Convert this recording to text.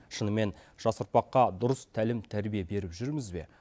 шынымен жас ұрпаққа дүрыс тәлім тәрбие беріп жүрміз бе